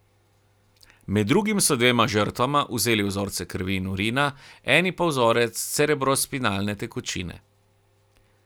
Med drugim so dvema žrtvama vzeli vzorce krvi in urina, eni pa vzorec cerebrospinalne tekočine.